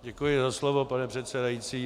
Děkuji za slovo, pane předsedající.